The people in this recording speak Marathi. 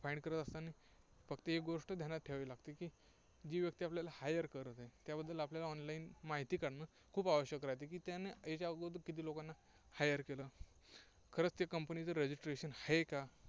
Find करत असताना फक्त एक गोष्ट ध्यानात ठेवावी लागते की जी व्यक्ती आपल्याला hire करत आहे, त्याबद्दल आपल्याला online माहिती काढणं खूप आवश्यक राहतं, की त्याने या अगोदर किती लोकांना hire केलं, खरंच ती Company चं registration आहे का?